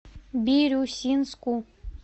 бирюсинску